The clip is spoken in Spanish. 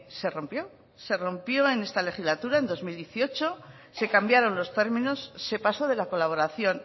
se rompió se rompió en esta legislatura en dos mil dieciocho se cambiaron los términos se pasó de la colaboración